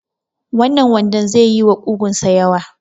Wannan wandon ze yi wa ƙugun sa yawa